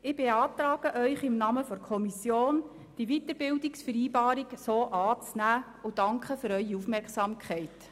Ich beantrage Ihnen im Namen der Kommission, die Weiterbildungsvereinbarung so anzunehmen und danke für Ihre Aufmerksamkeit.